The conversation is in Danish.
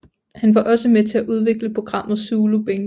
Han var også med til at udvikle programmet Zulu Bingo